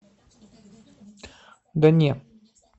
да не